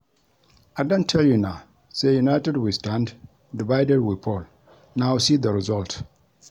I don tell una say united we stand, divided we fall now see the result